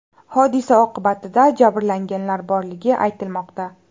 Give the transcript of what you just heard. Hodisa oqibatida jabrlanganlar borligi aytilmoqda.